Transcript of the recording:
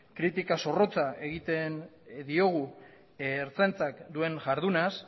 kritika zorrotza egiten diogu ertzaintzak duen jardunaz